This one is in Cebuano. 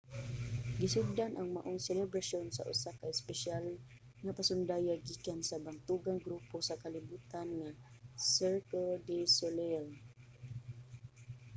gisugdan ang maong selebrasyon sa usa ka espesyal nga pasundayag gikan sa bantugang grupo sa kalibutan nga cirque du soleil